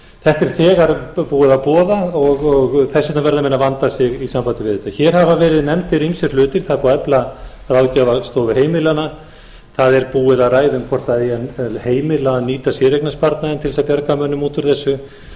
þetta er þegar búið að boða og þess vegna verða menn að vanda sig í sambandi við þetta hér hafa verið nefndir ýmsir hlutir það er búið að efla ráðgjafarstofu heimilanna það er búið að ræða um hvort eigi að heimila að nýta séreignarsparnaðinn til þess að bjarga mönnum út úr þessu það